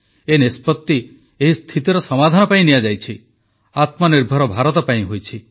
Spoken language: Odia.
ଏ ନିଷ୍ପତି ଏହି ସ୍ଥିତିର ସମାଧାନ ପାଇଁ ନିଆଯାଇଛି ଆତ୍ମନିର୍ଭର ଭାରତ ପାଇଁ ହୋଇଛି